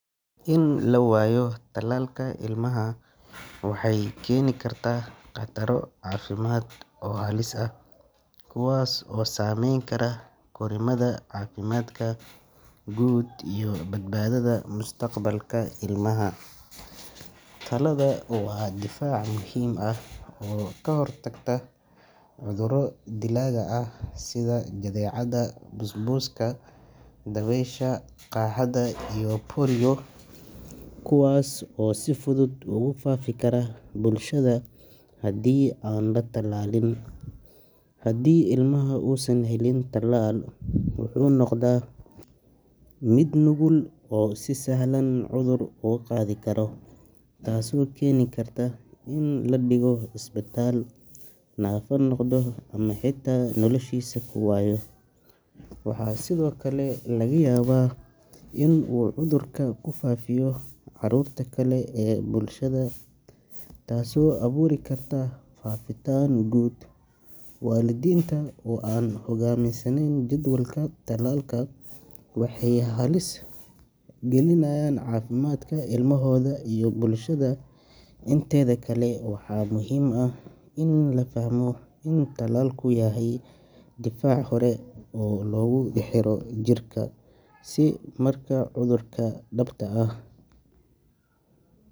In la waayo talaalka ilmaha waxay keeni kartaa khataro caafimaad oo halis ah, kuwaas oo saameyn kara korriimada, caafimaadka guud iyo badbaadada mustaqbalka ilmaha. Talaalada waa difaac muhiim ah oo ka hortaga cudurro dilaaga ah sida jadeecada, busbuska, dabaysha, qaaxada iyo polio, kuwaas oo si fudud ugu faafi kara bulshada haddii aan la talaalin. Haddii ilmuhu uusan helin talaal, wuxuu noqdaa mid nugul oo si sahlan cudur uga qaadi kara, taasoo keeni karta in la dhigo isbitaal, naafo noqdo ama xitaa noloshiisa ku waayo. Waxaa sidoo kale laga yaabaa in uu cudurka ku faaﬁyo caruurta kale ee bulshada, taasoo abuuri karta faafitaan guud. Waalidiinta oo aan u hoggaansamin jadwalka talaalka waxay halis gelinayaan caafimaadka ilmahooda iyo bulshada inteeda kale. Waxaa muhiim ah in la fahmo in talaalku yahay difaac hore oo lagu xiro jirka, si marka cudurka dhabta ah.